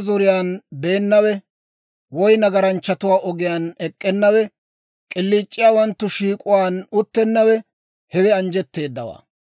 zoriyaan beennawe, woy nagaranchchatuwaa ogiyaan ek'k'ennawe, k'iliic'iyaawanttu shiik'uwaan uttennawe, hewe anjjetteedawaa.